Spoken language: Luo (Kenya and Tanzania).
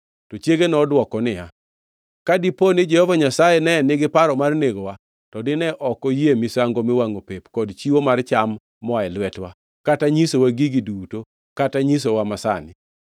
To chiege nodwoko niya, “Ka dipo ni Jehova Nyasaye ne nigi paro mar negowa, to dine ok oyie misango miwangʼo pep kod chiwo mar cham moa e lwetwa, kata nyisowa gigi duto kata nyisowa masani.”